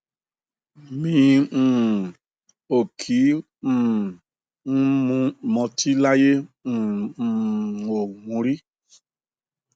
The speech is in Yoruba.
mi um ò kí um ń mọtí láyé n um ò mu ún rí